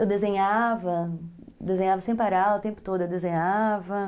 Eu desenhava, desenhava sem parar, o tempo todo eu desenhava.